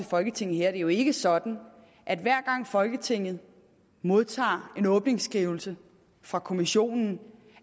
folketinget her at det jo ikke er sådan at hver gang folketinget modtager en åbningsskrivelse fra kommissionen